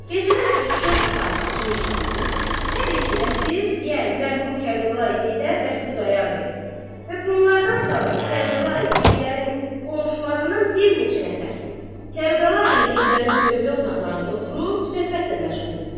Gecədən üç-dörd saat keçmişdi, hər iki rəfiq, yəni mərhum Kərbəlayı Heydər və Xudayar bəy və bunlardan savayı Kərbəlayı Heydərin qonşularından bir neçə nəfər Kərbəlayı Heydərin tövlə otaqlarında oturub söhbətlə məşğul idilər.